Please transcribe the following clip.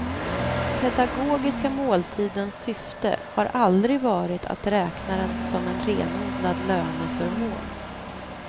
Pedagogiska måltidens syfte har aldrig varit att räkna den som en renodlad löneförmån.